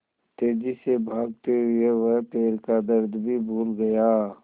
तेज़ी से भागते हुए वह पैर का दर्द भी भूल गया